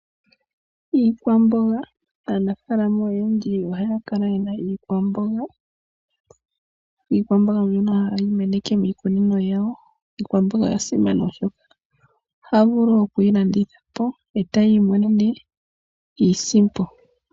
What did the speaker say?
Aanafaalama oyendji ohaya kala yena iikwamboga mbyono haya meneke miikunino yawo. Iikwamboga oya simana oshoka ohaya vulu oku yi landitha po etaya imonene iisimpo.